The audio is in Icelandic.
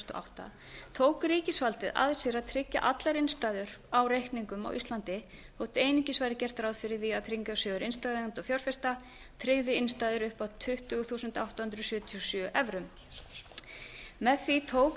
átta tók ríkisvaldið að sér að tryggja allar innstæður á reikningum á íslandi þótt einungis væri gert ráð fyrir því að tryggingarsjóður innstæðueigenda og fjárfesta tryggði innstæður upp að tuttugu þúsund átta hundruð sjötíu og sjö evrum með því tók